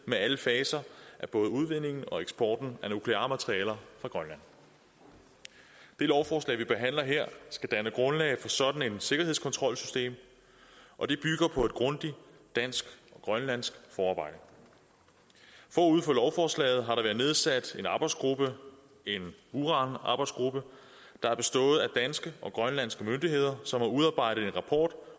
med alle faser af både udvindingen og eksporten af nukleare materialer fra grønland det lovforslag vi behandler her skal danne grundlag for sådan et sikkerhedskontrolsystem og det bygger på et grundigt dansk grønlandsk forarbejde forud for lovforslaget har der været nedsat en arbejdsgruppe en uranarbejdsgruppe der har bestået af danske og grønlandske myndigheder som har udarbejdet en rapport